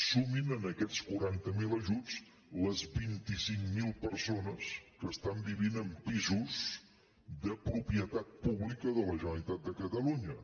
sumin a aquests quaranta miler ajuts les vint cinc mil persones que estan vivint en pisos de propietat pública de la generalitat de catalunya